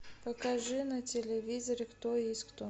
покажи на телевизоре кто есть кто